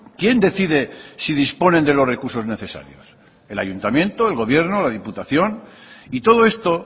quién decide si disponen de los recursos necesarios el ayuntamiento el gobierno la diputación y todo esto